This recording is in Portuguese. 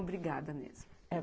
Obrigada mesmo.